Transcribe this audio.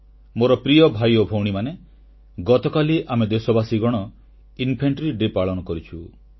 ମୋର ପ୍ରିୟ ଭାଇ ଓ ଭଉଣୀମାନେ ଗତକାଲି ଆମେ ଦେଶବାସୀ ଇନଫାଣ୍ଟ୍ରି ଡେ ବା ପଦାତିକ ବାହିନୀ ଦିବସ ପାଳନ କରିଛୁ